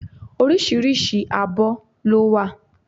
Oríṣiríṣi abọ́ ló wà